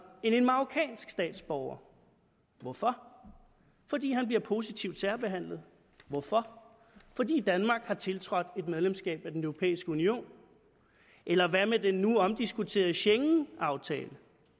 end en marokkansk statsborger hvorfor fordi han bliver positivt særbehandlet hvorfor fordi danmark har tiltrådt et medlemskab af den europæiske union eller hvad med den nu omdiskuterede schengenaftale